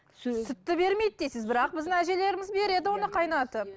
сүтті бермейді дейсіз бірақ біздің әжелеріміз береді оны қайнатып